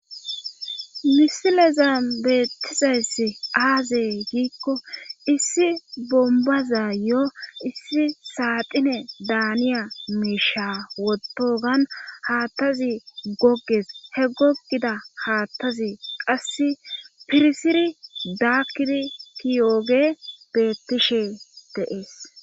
Misilezan beettizayss aazey giikko issi bombazayo issi saaxine daaniya miisha wotogan haattazi gogges he gogida haattazi qassi pirsiri daakkidi tiyooge beettishe de'ees